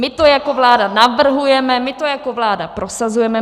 My to jako vláda navrhujeme, my to jako vláda prosazujeme.